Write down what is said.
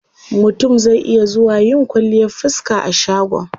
Mutum zai iya zuwa yin kwalliyar fiska a shagon.